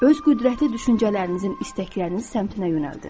Öz qüvvətli düşüncələrinizin istəkləriniz səmtinə yönəldin.